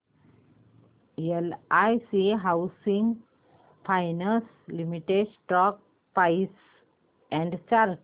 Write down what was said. LIC housing finance limited stock price and chart